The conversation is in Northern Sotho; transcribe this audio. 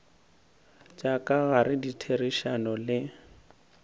tša ka gare ditherišano le